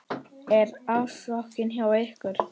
Er ásókn hjá ykkur?